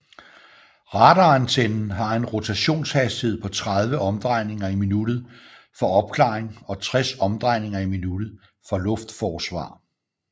Radarantennen har en rotationshastighed på 30 omdrejninger i minuttet for opklaring og 60 omdrejninger i minuttet for luftforsvar